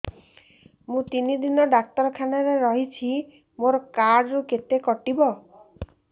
ମୁଁ ତିନି ଦିନ ଡାକ୍ତର ଖାନାରେ ରହିଛି ମୋର କାର୍ଡ ରୁ କେତେ କଟିବ